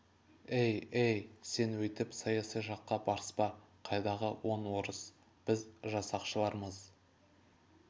әй әй сен өйтіп саяси жаққа барыспа қайдағы он орыс біз жасақшылармыз